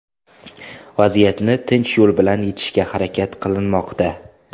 Vaziyatni tinch yo‘l bilan yechishga harakat qilinmoqda.